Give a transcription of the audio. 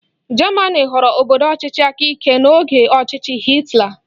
Germani ghọrọ obodo ọchịchị aka ike n'oge ọchịchị Hitler